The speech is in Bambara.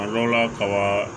A dɔw la kaba